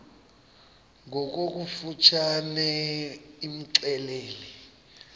ngokofu tshane imxelele